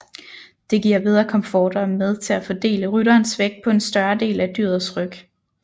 Det giver bedre komfort og er med til at fordele rytterens vægt på en større del af dyrets ryg